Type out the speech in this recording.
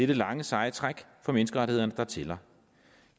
det lange seje træk for menneskerettighederne der tæller